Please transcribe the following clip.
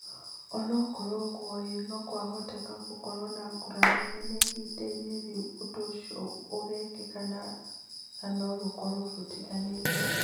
O na kũrĩ ũguo, no kũhoteke gũkorũo na ngũrani nini ihinda-inĩ rĩa ũndũ ũcio ũgekĩka no rĩkorũo rĩtiganĩte.